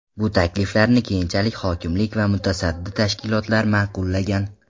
Bu takliflarni keyinchalik hokimlik va mutasaddi tashkilotlar ma’qullagan.